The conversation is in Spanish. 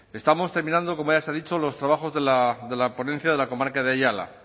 estamos terminando como ya se ha dicho los trabajos de la ponencia de la comarca de ayala